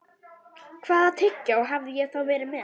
Hvaða tyggjó hafði ég þá verið með?